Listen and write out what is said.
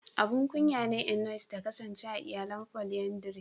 Abun kunya ne Eunice ta kasance a iyalan "Polyandry".